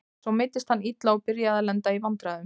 Svo meiddist hann illa og byrjaði að lenda í vandræðum.